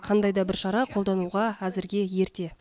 қандай да бір шара қолдануға әзірге ерте